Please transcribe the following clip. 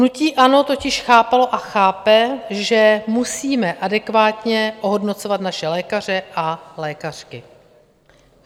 Hnutí ANO totiž chápalo a chápe, že musíme adekvátně ohodnocovat naše lékaře a lékařky.